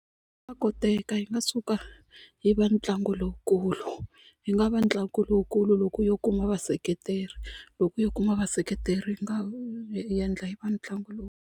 koteka hi nga suka yi va ntlangu lowukulu yi nga va ntlangu lowukulu loko yo kuma vaseketeri loko yo kuma vaseketeri yi nga endla yi va ntlangu .